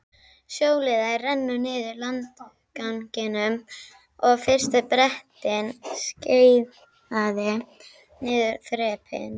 Sjóliðar renndu niður landganginum og fyrsti Bretinn skeiðaði niður þrepin.